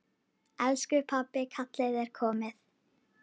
Elsku pabbi, kallið er komið.